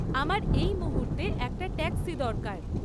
আমার এই মুহূর্তে একটা ট্যাক্সি দরকার